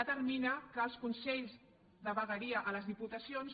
determina que als consells de vegueries a les diputacions